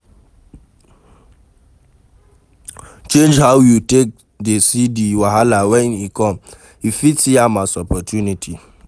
Change how you take dey see di wahala when e come, you fit see am as opportunity